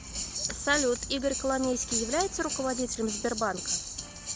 салют игорь коломейский является руководителем сбербанка